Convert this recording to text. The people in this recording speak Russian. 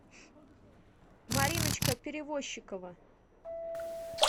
мариночка перевозчикова